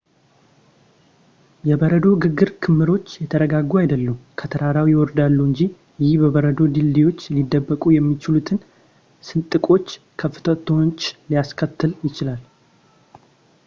የበረዶ ግግር ክምሮች የተረጋጉ አይደሉም ፣ ከተራራው ይወርዳሉ እንጂ። ይህ በበረዶ ድልድዮች ሊደበቁ የሚችሉትን ስንጥቆች ፣ ክፍተቶችን ሊያስከትል ይችላል